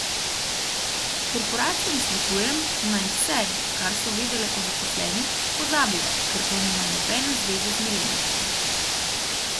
Korporacijam svetujem, naj vse, kar so vedele o zaposlenih, pozabijo, ker to nima nobene zveze z milenijci.